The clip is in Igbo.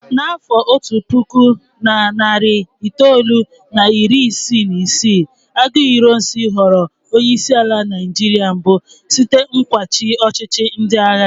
Na afọ otu puku na narị itoolu na iri isii na isii, Aguiyi Ironsi ghọrọ onye isi ala Naijiria mbụ site n'ịkwachi ọchịchị ndị agha.